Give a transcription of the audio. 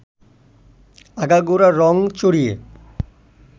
আগাগোড়া রঙ চড়িয়ে